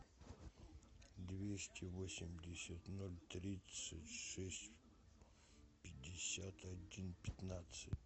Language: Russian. двести восемьдесят ноль тридцать шесть пятьдесят один пятнадцать